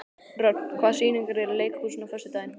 Rögn, hvaða sýningar eru í leikhúsinu á föstudaginn?